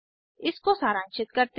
इसको सारांशित करते हैं